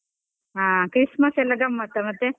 ಹಾ Christmas ಎಲ್ಲ ಗಮ್ಮತಾ ಮತ್ತೆ?